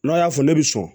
N'o y'a fɔ ne bɛ sɔn